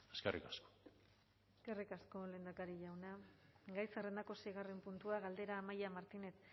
eskerrik asko eskerrik asko lehendakari jauna gai zerrendako seigarren puntua galdera amaia martinez